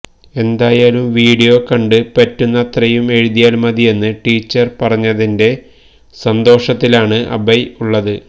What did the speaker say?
എന്തായാലും വീഡിയോ കണ്ട് പറ്റുന്ന അത്രയും എഴുതിയാൽ മതിയെന്ന് ടീച്ചർ പറഞ്ഞതിന്റെ സന്തോഷത്തിലാണ് അഭയ് ഉള്ളത്